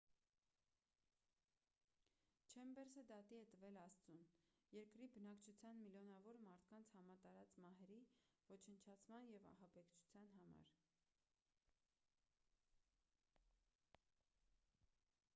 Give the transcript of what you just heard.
չեմբերսը դատի է տվել աստծուն երկրի բնակչության միլիոնավոր մարդկանց համատարած մահերի ոչնչացման ու ահաբեկչության համար